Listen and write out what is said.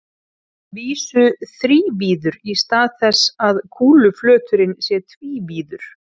Að vísu þrívíður í stað þess að kúluflöturinn sé tvívíður.